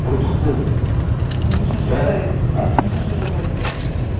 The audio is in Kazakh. болды бұл нешінші жылдары еді а нешінші жылдары еді бұл